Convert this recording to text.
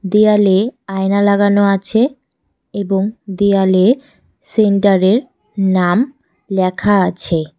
দেয়ালে আয়না লাগানো আছে এবং দেয়ালে সেন্টারের নাম লেখা আছে।